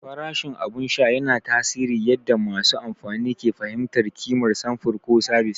Farashin abin sha yana tasiri yadda masu amfani ke fahimtar ƙimar samfur ko sabis.